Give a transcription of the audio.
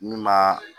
N'u ma